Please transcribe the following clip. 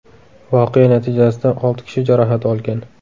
Voqea natijasida olti kishi jarohat olgan.